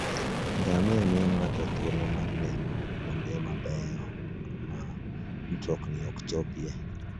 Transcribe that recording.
Ngamia miyo ng'ato thuolo mar neno kuonde maboyo ma mtokni ok chopie.